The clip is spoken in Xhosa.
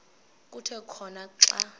kuthi khona xa